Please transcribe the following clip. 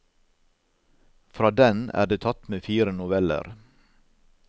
Fra den er det tatt med fire noveller.